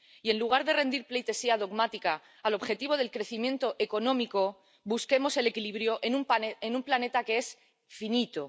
y, en lugar de rendir pleitesía dogmática al objetivo del crecimiento económico, busquemos el equilibrio en un planeta que es finito.